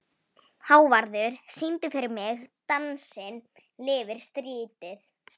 Hávarður, syngdu fyrir mig „Dansinn lifir stritið“.